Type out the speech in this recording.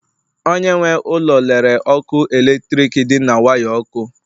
Onye nwe ụlọ lere ọkụ eletrik dị na waya ọkụ